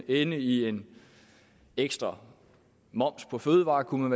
ende i en ekstra moms på fødevarer kunne